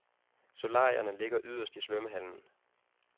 Solarierne ligger yderst i svømmehallen.